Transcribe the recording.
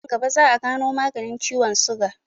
Nan gaba za'a gano maganin ciwon suga.